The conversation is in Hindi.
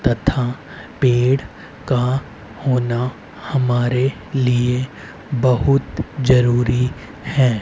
तथा पेड़ का होना हमारे लिए बहुत जरूरी है।